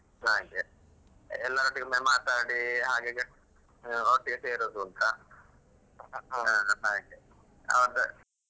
ಹಾಗೆ ಎಲ್ಲರೊಟ್ಟಿಗೆ ಒಮ್ಮೆ ಮಾತಾಡಿ ಹಾಗಾಗಿ ಒಟ್ಟಿಗೆ ಸೇರುದು ಅಂತ ಹಾಗೆ .